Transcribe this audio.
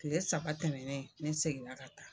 Kile saba tɛmɛnen ne seginna ka taa.